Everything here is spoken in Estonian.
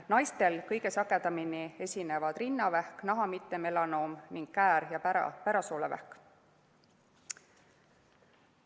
Naistel esinevad kõige sagedamini rinnavähk, naha mittemelanoom ning käär- ja pärasoolevähk.